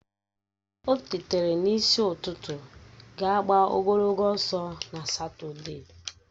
O tetara n'isi ụtụtụ ga gbaa ogologo ọsọ na Satọde